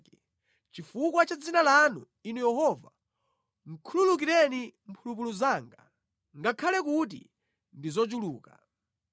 Chifukwa cha dzina lanu, Inu Yehova, khululukireni mphulupulu zanga, ngakhale kuti ndi zochuluka.